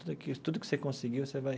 Tudo que tudo que você conseguiu, você vai...